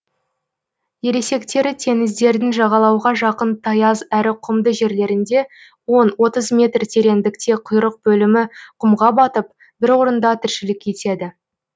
ересектері теңіздердің жағалауға жақын таяз әрі құмды жерлерінде он отыз метр тереңдікте құйрық бөлігі құмға батып бір орында тіршілік етеді